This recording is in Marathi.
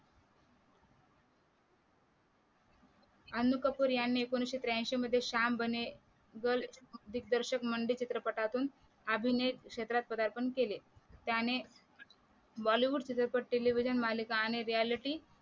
अन्नू कपूर यांनी एकोणविशे त्र्यांशी मध्ये शाम बने गर्ल दिग्दर्शक मंडी चित्रपटातुन अभिनय क्षेत्रात पदार्पण केले त्याने bollywood चित्रपट Tlivision मालिका चित्रपट आणि Riyality